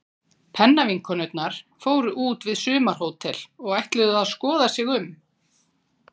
Pennavinkonurnar fóru út við sumarhótel og ætluðu að skoða sig um.